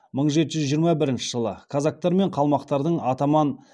мың жеті жүз жиырма бірінші жылы казактар мен қалмақтардың атаман